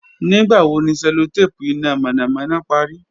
Nigbawo ni cellotape ina mọnamọna pari?